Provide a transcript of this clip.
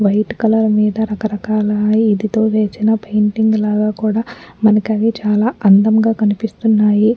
White colour మీద రకరకాలా ఇదితో వేసిన పెయింటింగ్ లాగా కూడా మనకు అవి చాలా అందంగా కనిపిస్తునాయి.